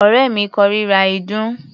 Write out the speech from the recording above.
Ọ̀rẹ́ mi kórira ìdun.